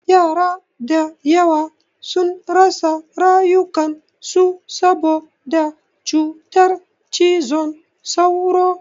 Yara da yawa sun rasa rayukan su saboda cutar cizon sauro.